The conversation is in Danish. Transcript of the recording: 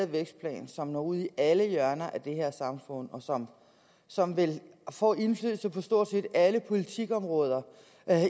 vækstplan som når ud i alle hjørner af det her samfund og som som vil få indflydelse på stort set alle politikområder